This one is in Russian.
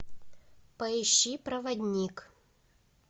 поищи проводник